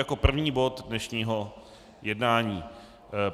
Jako první bod dnešního jednání.